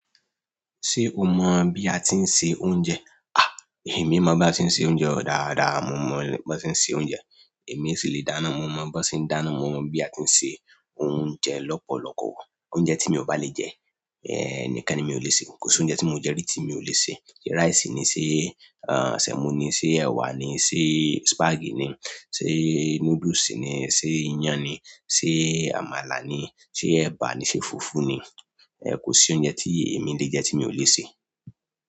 Ṣé o mọ̀ bí a ti ń se oúnjẹ? À, èmi mọ bí a ti ń se oúnjẹ dáadáa, mo mọ bí wọ́n ti ń se oúnjẹ. Èmi sì le dáná, mo mọ bí wọ́n ti ń dáná, mo mọ bí a ti ń se oúnjẹ lọ́pọ̀lọpọ̀. Oúnjẹ tí mi ò bá le jẹ, ẹ, nìkan ni mi ò lè sè. Kò sí oúnjẹ tí mo jẹ rí tí mi ò lè sè. Ṣé rice ni, ṣé, àń, semo ni, ṣé ẹwà ni, ṣé spaghetti ni, ṣé noodles ni, ṣé iyán ni, ṣé àmàlà ni, ṣé ẹ̀bà ni, ṣe fùfú ni. Ẹ̀, kò sí oúnjẹ tí èmi le jẹ tí mi ò lè sè.